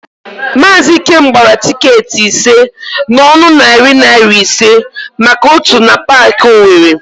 Maazị Ikem gbara tịketị ise n'ọnụ narị naịra ise maka ótù na Paakị Owere.